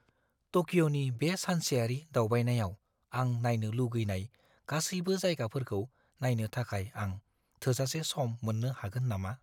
टकिअ'नि बे सानसेयारि दावबायनायाव आं नायनो लुगैनाय गासैबो जायगाफोरखौ नायनो थाखाय आं थोजासे सम मोन्नो हागोन नामा?